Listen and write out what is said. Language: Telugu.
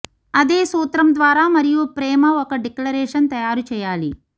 అదే సూత్రం ద్వారా మరియు ప్రేమ ఒక డిక్లరేషన్ తయారు చేయాలి